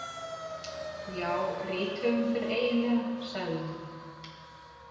Já, rithöfundur eiginlega, sagði hún.